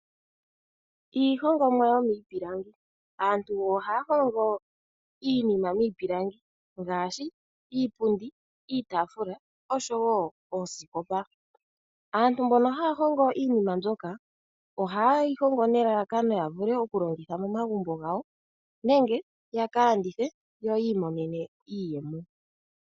Iihongomwa yomiipilangi, aantu oha ya hongo iinima miipilangi ngaashi iipundi, iitafula oshowo oosikopa. Aantu mbono haya hongo iinima mbyoka ohaye yi hongo nelalakano ya vule okulongitha momagumbo gawo nenge ya ka landithe yo yiimonenemo iiyemo.